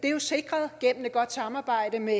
er sikret gennem et godt samarbejde med